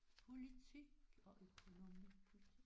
Politik og økonomi